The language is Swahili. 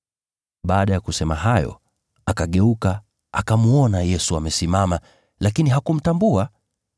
Baada ya kusema hayo, akageuka, akamwona Yesu amesimama, lakini hakumtambua.